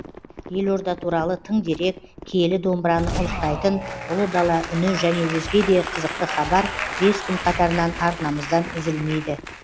елорда туралы тың дерек киелі домбыраны ұлықтайтын ұлы дала үні және өзге де қызықты хабар бес күн қатарынан арнамыздан үзілмейді